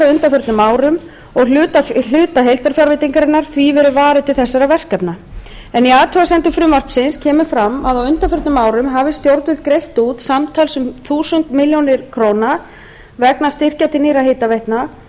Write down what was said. á undanförnum árum og hluta heildarfjárveitingarinnar því verið varið til þessara verkefna en í athugasemdum frumvarpsins kemur fram að á undanförnum árum hafa stjórnvöld greitt út um þúsund milljónir króna vegna styrkja til nýrra hitaveitna